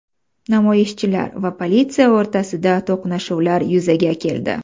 Namoyishchilar va politsiya o‘rtasida to‘qnashuvlar yuzaga keldi.